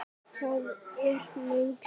Það er löng saga.